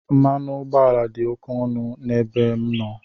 Mmanụ ụgbọala dị ókè ọnụ n'ebe m nọ.